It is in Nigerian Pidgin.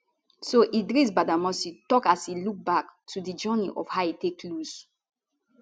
so idris badamasi tok as e look back to di journey of how e take lose